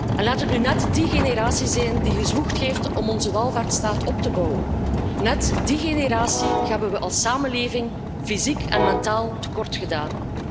En laat het nu net die generatie zijn die gezwoegd heeft om onze welvaartsstaat op te bouwen, net die generatie hebben we als samenleving fysiek en mentaal tekortgedaan.